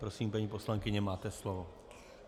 Prosím, paní poslankyně, máte slovo.